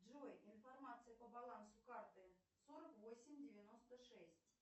джой информация по балансу карты сорок восемь девяносто шесть